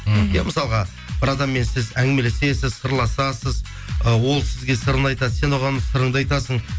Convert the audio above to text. мхм иә мысалға бір адаммен сіз әңгімелесесіз сырласасыз ы ол сізге сырын айтады сен оған сырыңды айтасың